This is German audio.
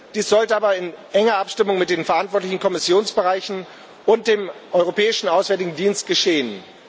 Dies sollte aber in enger Abstimmung mit den verantwortlichen Kommissionsbereichen und dem Europäischen Auswärtigen Dienst geschehen.